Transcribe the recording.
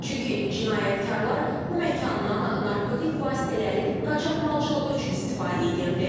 Çünki cinayətkarlar bu məkandan narkotik vasitələrin qaçaqmalçılığı üçün istifadə edirdi.